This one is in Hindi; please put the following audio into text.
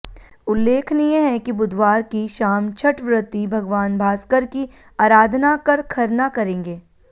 उल्लेखनीय है कि बुधवार की शाम छठव्रती भगवान भास्कर की अराधना कर खरना करेंगे